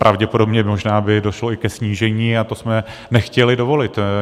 Pravděpodobně by možná došlo i ke snížení a to jsme nechtěli dovolit.